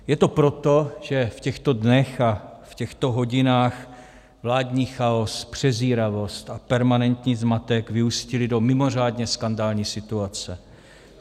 Je to proto, že v těchto dnech a v těchto hodinách vládní chaos, přezíravost a permanentní zmatek vyústily do mimořádně skandální situace.